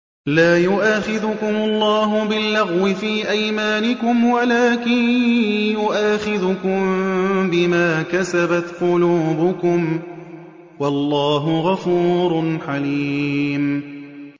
لَّا يُؤَاخِذُكُمُ اللَّهُ بِاللَّغْوِ فِي أَيْمَانِكُمْ وَلَٰكِن يُؤَاخِذُكُم بِمَا كَسَبَتْ قُلُوبُكُمْ ۗ وَاللَّهُ غَفُورٌ حَلِيمٌ